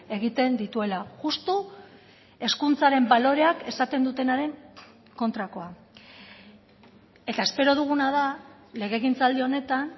egiten dituela justu hezkuntzaren baloreak esaten dutenaren kontrakoa eta espero duguna da legegintzaldi honetan